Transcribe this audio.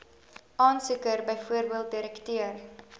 aansoeker bv direkteur